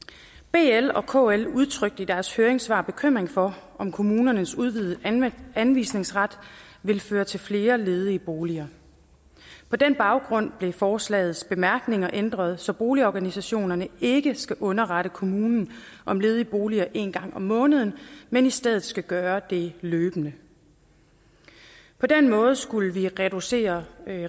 bl og kl udtrykte i deres høringssvar bekymring for om kommunernes udvidede anvisningsret ville føre til flere ledige boliger på den baggrund blev forslagets bemærkninger ændret så boligorganisationerne ikke skal underrette kommunen om ledige boliger en gang om måneden men i stedet skal gøre det løbende på den måde skulle vi reducere